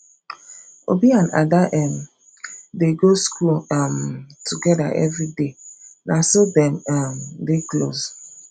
obi and ada um dey go school um together everyday na so dem um dey close